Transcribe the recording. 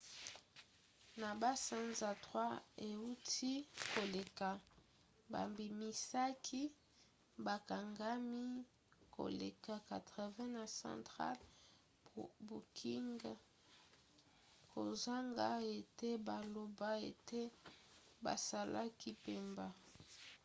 na basanza 3 euti koleka babimisaki bakangami koleka 80 na central booking kozanga ete baloba ete basalaki mbeba